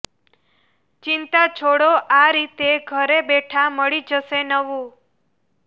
ચિંતા છોડો આ રીતે ઘરે બેઠા મળી જશે નવું